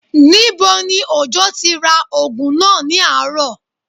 Níbo ni Òjó ti ra oògùn náà ní àárọ̀?